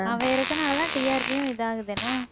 அவன் இருக்குறதுனாலதான் TRP யும் இது ஆகுது என்ன